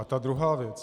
A ta druhá věc.